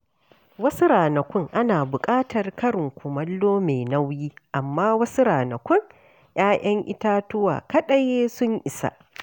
Wasu ranaku ana buƙatar karin kumallo mai nauyi, amma wasu ranaku ‘ya’yan itatuwa kadan sun isa.